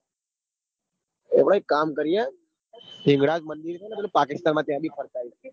હોવ એક કામ કરીએ પેલું હિંગળાજ મંદિર ચ ને પેલી પાકિસ્તાન માં ત્યાં બ ફરતા આઇએ.